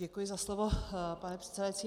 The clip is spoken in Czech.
Děkuji za slovo pane předsedající.